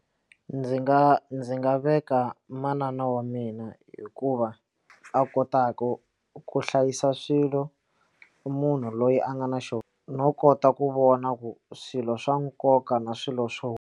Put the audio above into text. Ndzi nga ndzi nga veka manana wa mina hikuva a kotaka ku hlayisa swilo munhu loyi a nga na xona no kota ku vona ku swilo swa nkoka na swilo swo.